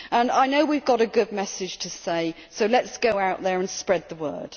I know we have got a good message to say, so let us go out there and spread the word.